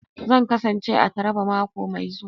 Zan kasance a Taraba mako mai zuwa